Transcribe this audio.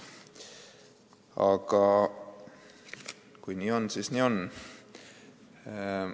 Aga kui nii on, siis nii on.